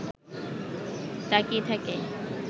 তাকিয়ে থাকে